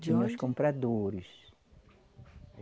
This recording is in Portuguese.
De onde? Compradores.